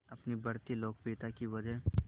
अपनी बढ़ती लोकप्रियता की वजह